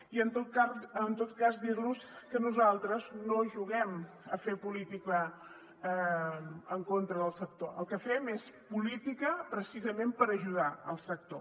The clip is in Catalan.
i en tot cas dir los que nosaltres no juguem a fer política en contra del sector el que fem és política precisament per ajudar el sector